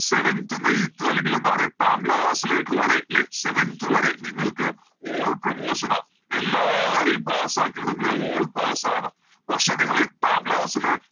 Seventh ഉം Eighth ഉം അല്ലെങ്കില് എന്തപറയ എട്ടാം Class ലേക്ക് വരെ ലെ Seventh വരെ നിങ്ങൾക്ക് All promotion ആ എല്ലാരേയും Pass ആക്കി വിടും ലെ All pass ആണ് പക്ഷെ നിങ്ങള് എട്ടാം Class ല്